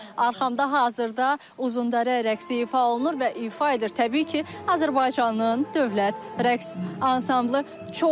Arxamda hazırda Uzundərə rəqsi ifa olunur və ifa edir təbii ki, Azərbaycanın dövlət rəqs ansamblı.